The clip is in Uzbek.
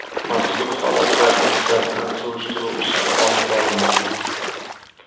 Mazkur holatlar yuzasidan surishtiruv ishlari olib borilmoqda.